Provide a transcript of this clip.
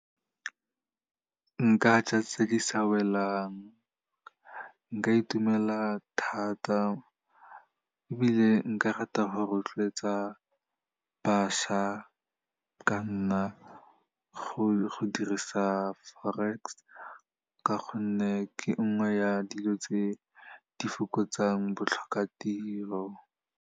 Nka ja tse di sa welang, nka itumela thata ebile nka rata go rotloetsa bašwa ka nna go dirisa forex ka gonne ke nngwe ya dilo tse di fokotsang botlhokatiro.